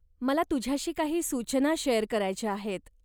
मला तुझ्याशी काही सूचना शेअर करायच्या आहेत.